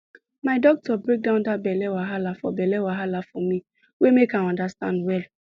my doctor break down that belle wahala for belle wahala for me way make i understand well